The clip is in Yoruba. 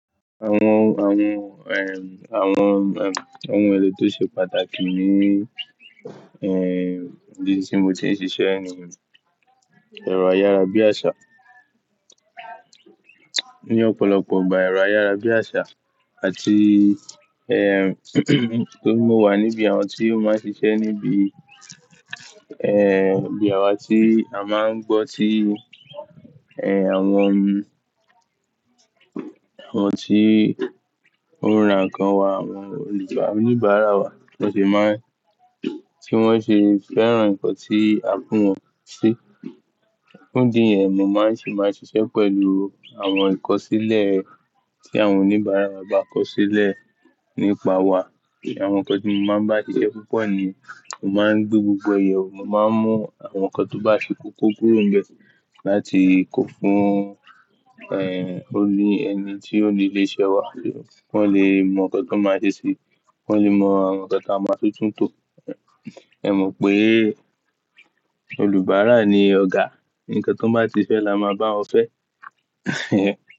Àwọn, àwọn, ẹm, àwọn, ẹm, ohun èlò tó ṣe pàtàkì ní, ẹm, ìdí tí mo ti ń ṣiṣẹ́ ẹni mi, ẹ̀rọ ayára bí àṣá. Ní ọ̀pọ̀lọpọ̀ ìgbà ẹ̀rọ ayára bí àṣá àti, ẹm, tó mú wà níbi àwọn tí ó máa ń ṣiṣẹ́ níbi, ẹm, ibi àwa tí a máa ń gbọ́ tí, ẹm, àwọn, àwọn tí ó ń ra nǹkan wá, àwọn, oníbàárà wa tí wọ́n sì máa ń-- tí wọ́n sì fẹ́ràn ǹkan tí a fún wọn sí. Òúnjẹ yẹn mo máa sì máa ń ṣiṣẹ́ pẹ̀lú àwọn ìkọ̀sílẹ̀ tí àwọn oníbàárà wa bá kọ sílẹ̀ nípa wa. Àwọn ǹkan tí mo máa ń bá ṣiṣẹ́ púpọ̀ ni mo máa ń gbé gbogbo ẹ̀ éyewo, mo máa ń mú àwọn ǹkan tó bá ṣe kókó kúrò níbẹ̀ láti kó fún, ẹm, òní ẹni tí ó ní ilé-iṣẹ́ wa kí wọ́n lè mọ ǹkan tí wọ́n máa ṣe síi, ki wọ́n lè mọ ǹkan tí a máa tútù tò. Ẹ̀ mọ̀ pé, olubàárà ni ọ̀gá, ǹkan tón bá ti fẹ́ la máa bá wọn fẹ́.